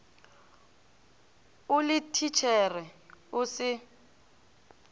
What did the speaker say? o le thitšhere o se